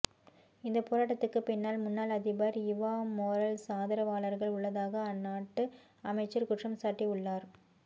இந்த போராட்டத்துக்கு பின்னால் முன்னாள்அதிபர் இவா மோரல்ஸ் ஆதரவாளர்கள் உள்ளதாக அந்நாட்டு அமைச்சர் குற்றம்சாட்டி உள்ளார்